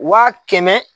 Waa kɛmɛ